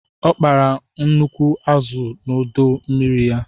O kpara nnukwu azụ n'ọdọ mmiri ya.